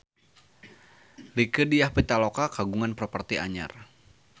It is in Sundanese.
Rieke Diah Pitaloka kagungan properti anyar